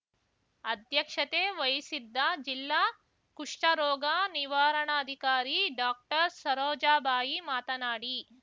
ಅಧ್ಯಕ್ಷತೆ ವಹಿಸಿದ್ದ ಜಿಲ್ಲಾ ಕುಷ್ಟರೋಗ ನಿವಾರಣಾಧಿಕಾರಿ ಡಾಕ್ಟರ್ಸರೋಜಾಬಾಯಿ ಮಾತನಾಡಿ